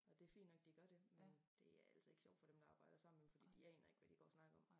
Og det fint nok de gør det men det altså ikke sjovt for dem der arbejder sammen med dem fordi de aner ikke hvad de går og snakker om